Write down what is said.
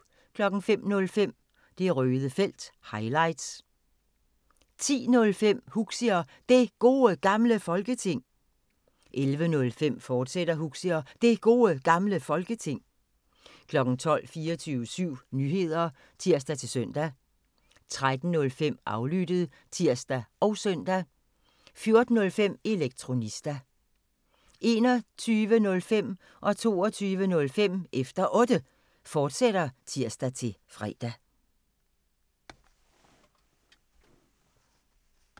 05:05: Det Røde Felt – highlights 10:05: Huxi og Det Gode Gamle Folketing 11:05: Huxi og Det Gode Gamle Folketing, fortsat 12:00: 24syv Nyheder (tir-søn) 13:05: Aflyttet (tir og søn) 14:05: Elektronista 21:05: Efter Otte, fortsat (tir-fre) 22:05: Efter Otte, fortsat (tir-fre)